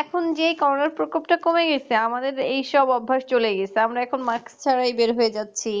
এখন যে করোনা প্রকোপ টা কমে গেছে আমাদের এইসব অভ্যাস চলে গেছে আমরা এখন mask ছাড়াই বের হয়ে যাচ্ছি